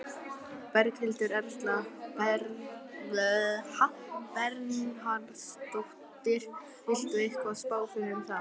Berghildur Erla Bernharðsdóttir: Vilt þú eitthvað spá fyrir um það?